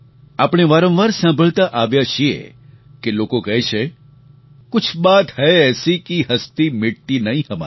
આપણે વારંવાર સાંભળતા આવ્યા છીએ કે લોકો કહે છે કુછ બાત હૈ એસી કિ હસ્તી મિટતી નહીં હમારી